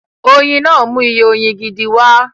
Oyin náà mú iye oyin gidi wá